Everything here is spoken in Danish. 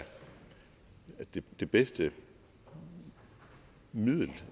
det bedste middel